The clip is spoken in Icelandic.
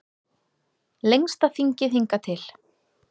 Lengsta þingið hingað til